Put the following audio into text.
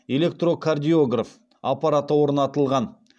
электрокардиограф аппараты орнатылған